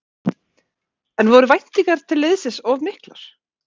En voru væntingar til liðsins of miklar?